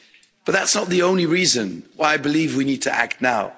But that's not the only reason why I believe we need to act now.